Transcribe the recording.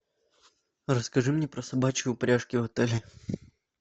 расскажи мне про собачьи упряжки в отеле